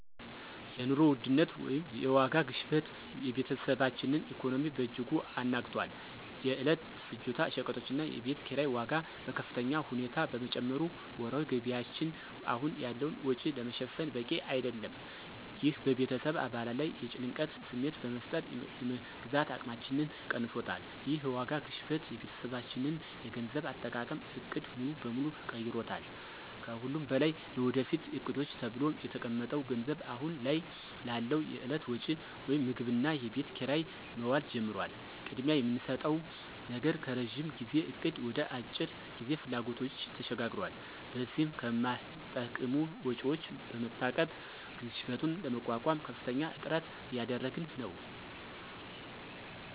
የኑሮ ውድነት (የዋጋ ግሽበት) የቤተሰባችንን ኢኮኖሚ በእጅጉ አናግቷል። የዕለት ፍጆታ ሸቀጦችና የቤት ኪራይ ዋጋ በከፍተኛ ሁኔታ በመጨመሩ ወርሃዊ ገቢያችን አሁን ያለውን ወጪ ለመሸፈን በቂ አይደለም። ይህ በቤተሰብ አባላት ላይ የጭንቀት ስሜት በመፍጠር የመግዛት አቅማችንን ቀንሶታል። ይህ የዋጋ ግሽበት የቤተሰባችንን የገንዘብ አጠቃቀም ዕቅድ ሙሉ በሙሉ ቀይሮታል። ከሁሉም በላይ ለወደፊት ዕቅዶች ተብሎ የተቀመጠው ገንዘብ አሁን ላለው የዕለት ወጪ (ምግብና የቤት ኪራይ) መዋል ጀምሯል። ቅድሚያ የምንሰጠው ነገር ከረዥም ጊዜ እቅድ ወደ የአጭር ጊዜ ፍላጎቶች ተሸጋግሯል። በዚህም ከማይጠቅሙ ወጪዎች በመታቀብ ግሽበቱን ለመቋቋም ከፍተኛ ጥረት እያደረግን ነው።